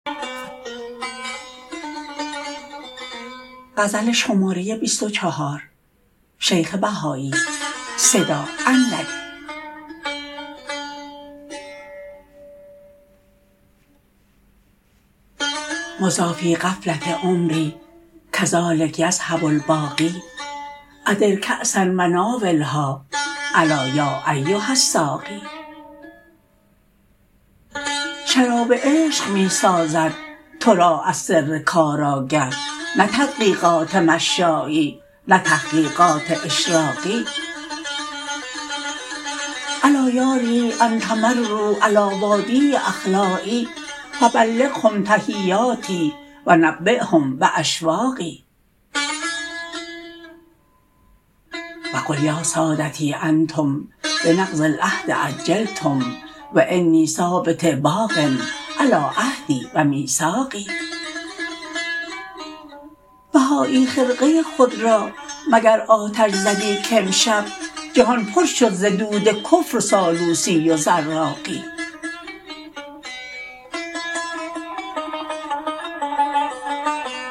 مضی فی غفلة عمری کذلک یذهب الباقی ادر کأسا و ناولها الا یا ایها الساقی شراب عشق می سازد تو را از سر کار آگه نه تدقیقات مشایی نه تحقیقات اشراقی الا یاریح ان تمرر علی وادی أخلایی فبلغهم تحیاتی و نبیهم باشواقی وقل یا سادتی انتم بنقض العهد عجلتم و انی ثابت باق علی عهدی و میثاقی بهایی خرقه خود را مگر آتش زدی کامشب جهان پر شد ز دود کفر و سالوسی و زراقی